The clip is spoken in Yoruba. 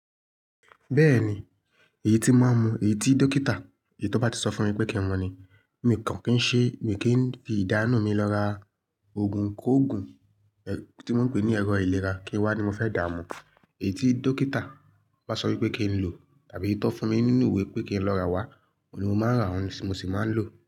Bẹ́ẹ̀ni, èyí tí máa ń mu, èyí tí dókítà, èyí tó bá ti sọ fún mi pé kí n mu ni. Mi kàn kí n ṣe, mi kì í fi ìdá inú mi lọ ra oògùn kóògùn, tí wọ́n ń pè ní ẹ̀rọ ìlera kí n wá ní mo fẹ́ dààmú. Èyí tí dókítà bá sọ wípé kí n lò tàbí tí ó fún mi nínú ìwé pé kí n lọ rà wá, òun ni mo máa ń rà wá, òun ni mo sì máa ń lò.